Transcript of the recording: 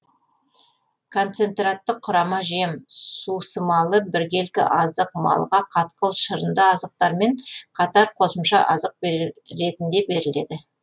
концентратты құрама жем сусымалы біркелкі азық малға қатқыл шырынды азықтармен қатар қосымша азық ретінде беріледі